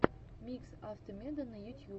микс автомедона ютьюб